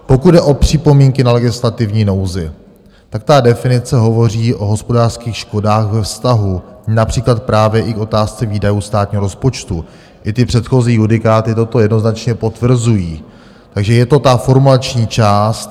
Pokud jde o připomínky na legislativní nouzi, tak ta definice hovoří o hospodářských škodách ve vztahu například právě i k otázce výdajů státního rozpočtu, i ty předchozí judikáty toto jednoznačně potvrzují, takže je to ta formulační část.